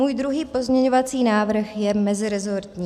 Můj druhý pozměňující návrh je meziresortní.